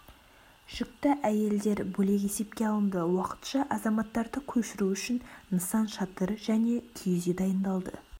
жүкті әйелдер бөлек есепке алынды уақытша азаматтарды көшіру үшін нысан шатыр және киіз үй дайындалды